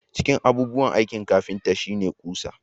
Cikin abubuwan aikin kafinta shi ne ƙusa